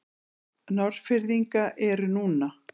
Norðfirðinga eru núna.